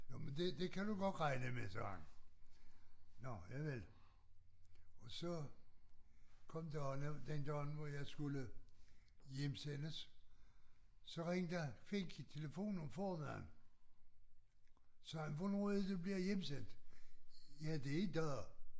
Jamen det det kan du godt regne med sagde han nåh javel og så kom dagen den dag hvor jeg skulle hjemsendes så ringede Fink i telefon om formiddagen sagde han hvornår er det du bliver hjemsendt ja det i dag